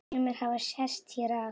Sumir hafi sest hér að.